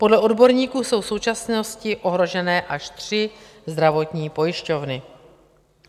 Podle odborníků jsou v současnosti ohrožené až tři zdravotní pojišťovny.